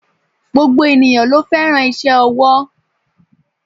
Gbogbo ènìyãn lo féràn ise owó